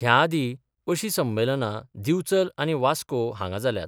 ह्या आदी अशी संमेलनां दिवचल आनी वास्को हांगा जाल्यात.